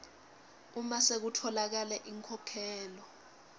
uma sekutfolakele inkhokhelo